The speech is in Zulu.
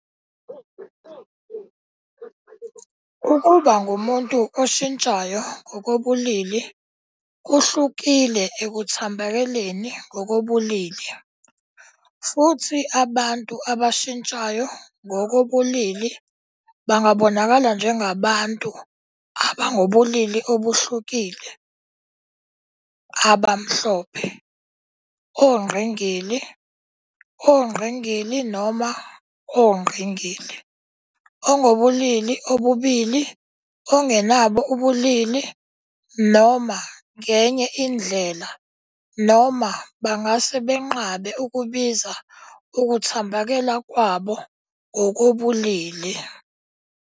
Ukuba ngumuntu oshintshayo ngokobulili kuhlukile ekuthambekeleni ngokobulili, futhi abantu abashintshayo ngoko bobulili bangabonakala njengabantu abangobulili obuhlukile, abamhlophe, ongqingili, ongqingili noma ongqingili, ongobulili obubili, ongenabo ubulili, noma ngenye indlela, noma bangase benqabe ukubiza ukuthambekela kwabo ngokobulili.